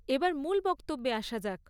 এবার মূল বক্তব্যে আসা যাক।